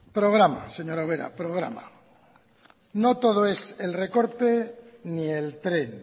programa señora ubera programa no todo es el recorte ni el tren